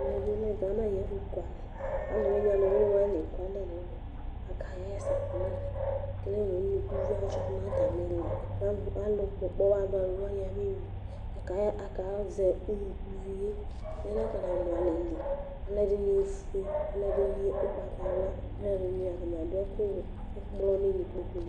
Ɛmɛ bi lɛ gana ayu ɛfu ku alɛ ɔluwiniwani ɔluwiniwani la eku alɛ nu ɛmɛ akaɣa ɛsɛ kama ekele nu unukuvio adzɔ nu atami ili Alu kpɔkpɔwadualuwani abeyui Akazɛ unukuvio yɛ anakɔna nu alɛli Alu edini ofue alu ɛdini ugbatawla Alu ɛdini atani adu ɛku wɛ ɛkplɔni nu kpokpuni